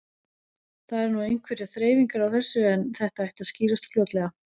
Það eru nú einhverjar þreifingar á þessu en þetta ætti að skýrast fljótlega.